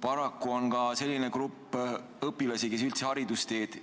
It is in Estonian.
Paraku on ka selline grupp õpilasi, kes üldse haridusteed